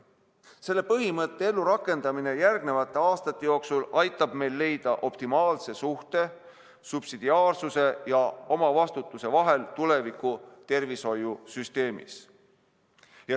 Selle põhimõtte ellurakendamine järgnevate aastate jooksul aitab meil leida optimaalse suhte subsidiaarsuse ja omavastutuse vahel tuleviku tervishoiusüsteemis.